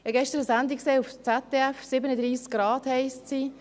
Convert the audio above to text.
Ich habe gestern eine Sendung auf ZDF gesehen, «37 Grad» heisst sie.